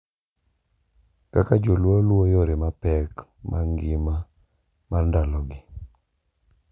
Kaka jo Luo luwo yore mapek mag ngima mar ndalogi,